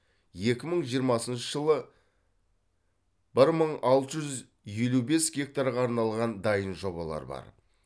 екі мың жиырмасыншы жылы бір мың алты жүз елу бес гектарға арналған дайын жобалар бар